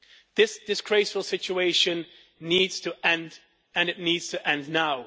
This disgraceful situation needs to end and it needs to end now.